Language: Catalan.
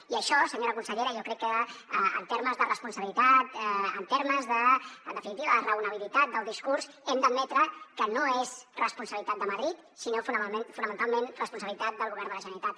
i això senyora consellera jo crec que en termes de responsabilitat en termes de en definitiva raonabilitat del discurs hem d’admetre que no és responsabilitat de madrid sinó fonamentalment responsabilitat del govern de la generalitat